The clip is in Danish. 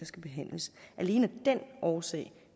skal behandles alene af den årsag